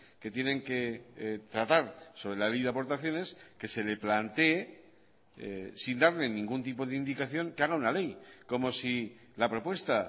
que tienen que tratar sobre la ley de aportaciones que se le plantee sin darle ningún tipo de indicación que haga una ley como si la propuesta